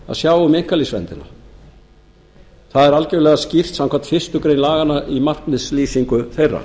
að sjá um einkalífsverndina það er algjörlega skýrt samkvæmt fyrstu grein laganna í markmiðslýsingu þeirra